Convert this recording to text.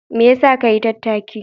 Me yasa ka yi tattaki?